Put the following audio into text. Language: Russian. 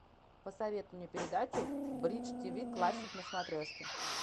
посоветуй мне передачу бридж тв классик на смотрешке